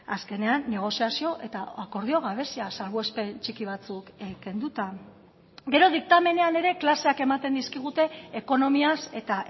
azkenean negoziazio eta akordio gabezia salbuespen txiki batzuk kenduta gero diktamenean ere klaseak ematen dizkigute ekonomiaz eta